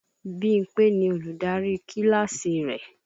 Bímpé ni Olùdarí kíláàsì rẹ̀